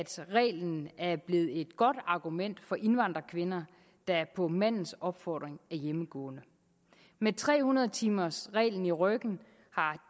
reglen er blevet et godt argument for indvandrerkvinder der på mandens opfordring er hjemmegående med tre hundrede timers reglen i ryggen har